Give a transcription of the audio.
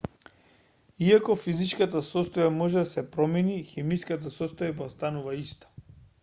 иако физичката состојба може да се промени хемиската состојба останува иста